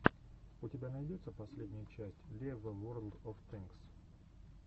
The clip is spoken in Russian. у тебя найдется последняя часть лебва ворлд оф тэнкс